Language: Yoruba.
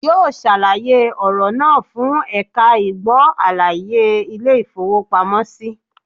Yóò sàlàyé ọ̀rọ̀ náà fún ẹ̀ka ìgbó àlàyé Ilé ìfowópamọ́ sí